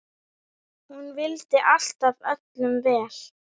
Hún vildi alltaf öllum vel.